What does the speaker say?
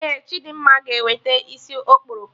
Ee, Chidimma ga eweta isi okporoko